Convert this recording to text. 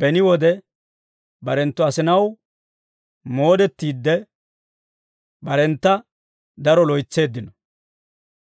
beni wode barenttu asinaw moodettiide, barentta daro loytseeddino.